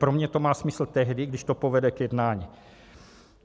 Pro mě to má smysl tehdy, když to povede k jednání.